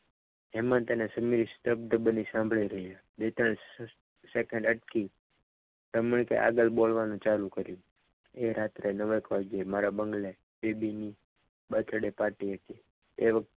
હેમંત અને સમીર શબ્દ બની સાંભળી રહ્યા બેટા સેકન્ડ અટકી રમણી કે આગળ બાંધવાનું ચાલુ કર્યું એ રાત્રે મારા બંગલે નવ એક વાગે બેબી ની birthday party હતી એ વખતે.